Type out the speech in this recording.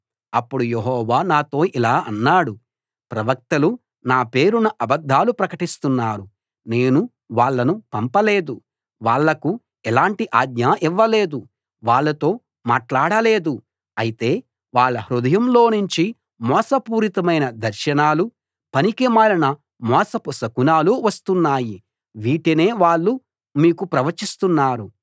అప్పుడు యెహోవా నాతో ఇలా అన్నాడు ప్రవక్తలు నా పేరున అబద్ధాలు ప్రకటిస్తున్నారు నేను వాళ్ళను పంపలేదు వాళ్ళకు ఎలాంటి ఆజ్ఞా ఇవ్వలేదు వాళ్ళతో మాట్లాడలేదు అయితే వాళ్ళ హృదయాల్లోనుంచి మోసపూరితమైన దర్శనాలూ పనికిమాలిన మోసపు శకునాలూ వస్తున్నాయి వీటినే వాళ్ళు మీకు ప్రవచిస్తున్నారు